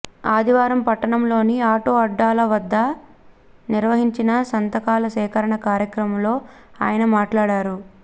ఆదివారం పట్టణంలోని ఆటో అడ్డాల వద్ద నిర్వహించిన సంతకాల సేకరణ కార్యక్రమంలో ఆయన మాట్లాడారు